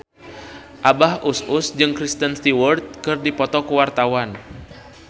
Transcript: Abah Us Us jeung Kristen Stewart keur dipoto ku wartawan